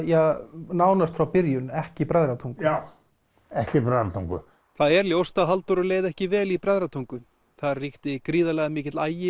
nánast frá byrjun ekki Bræðratungu já ekki Bræðratungu það er ljóst að Halldóru leið ekki vel í Bræðratungu þar ríkti gríðarlega mikill agi